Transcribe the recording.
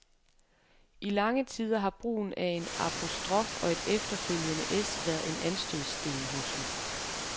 I lange tider har brugen af en apostrof og et efterfølgende s været en anstødssten hos mig.